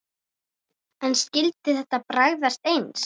En skyldi þetta bragðast eins?